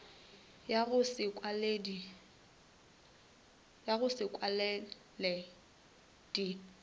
ya go se kwale di